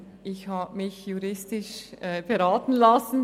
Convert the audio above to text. Ich habe mich juristisch beraten lassen.